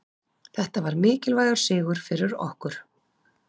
Þetta var mikilvægur sigur fyrir okkur.